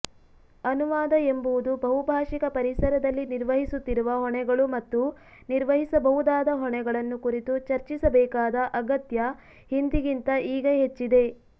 ಅನುವಾದವೆಂಬುದು ಬಹುಭಾಷಿಕ ಪರಿಸರದಲ್ಲಿ ನಿರ್ವಹಿಸುತ್ತಿರುವ ಹೊಣೆಗಳು ಮತ್ತು ನಿರ್ವಹಿಸಬಹುದಾದ ಹೊಣೆಗಳನ್ನು ಕುರಿತು ಚರ್ಚಿಸಬೇಕಾದ ಅಗತ್ಯ ಹಿಂದಿಗಿಂತ ಈಗ ಹೆಚ್ಚಿದೆ